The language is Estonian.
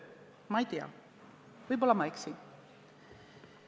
Ma ei tea, võib-olla ma eksin.